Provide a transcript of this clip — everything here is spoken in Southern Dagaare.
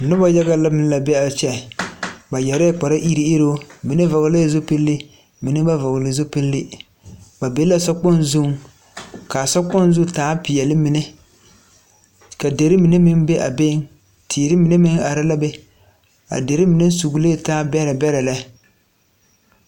Noba yaga la be a kyɛ, ba yɛrɛ kpari ireŋ ireŋ, mine vɔlɛɛ zupilii mine ba vɔlee zupilii ba be la sokpoŋ zuiŋ, ka sokpoŋ zu taa peɛli mine, ka dirii mine meŋ be a beiŋ ,teere mine be a be,a dirii mine meŋ soglee taa bɛrɛbɛrɛ lɛ